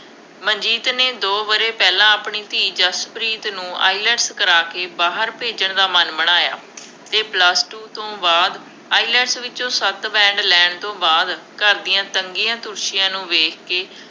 ਮਨਜੀਤ ਨੇ ਦੋ ਵਰ੍ਹੇ ਪਹਿਲਾਂ ਆਪਣੀ ਧੀ ਜਸਪ੍ਰੀਤ ਨੂੰ IELTS ਕਰਾ ਕੇ ਬਾਹਰ ਭੇਜਣ ਦਾ ਮਨ ਬਣਾਇਆ ਅਤੇ Plus Two ਤੋਂ ਬਾਅਦ IELTS ਵਿੱਚੋਂ ਸੱਤ band ਲੈਣ ਤੋਂ ਬਾਅਦ, ਘਰ ਦੀਆ ਤੰਗੀਆਂ ਤੋਸ਼ੀਆਂ ਨੂੰ ਵੇਖ ਕੇ,